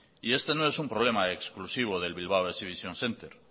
y este no es un problema exclusivo del bilbao exhibition centre